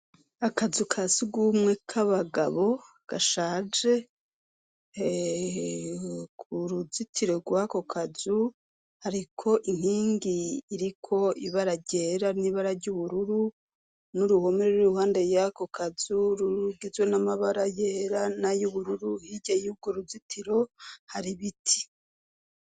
Akazu kasugwumwe k'abagabo gashaje k'uruzitiro rw'akokazu hariko inkingi iriko ibara ryera n'ibara ry'ubururu n'uruhomere rur'iruhande y'akokazu rugizwe n'amabara yera nay'ubururu hirya y'urworuzitiro har'ibiti.